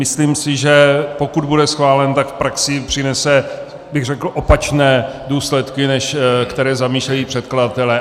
Myslím si, že pokud bude schválen, tak v praxi přinese, bych řekl, opačné důsledky, než které zamýšlejí předkladatelé.